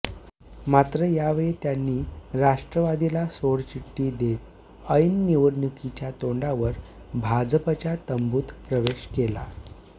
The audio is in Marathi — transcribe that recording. मात्र यावेळी त्यांनी राष्ट्रवादीला सोडचिठ्ठी देत ऐन निवडणूकीच्या तोंडावर भाजपच्या तंबूत प्रवेश केला